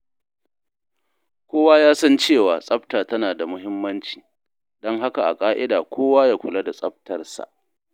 Kowa ya san cewa tsafta tana da muhimmanci, don haka a ƙa’ida kowa ya kula da tsaftar sa.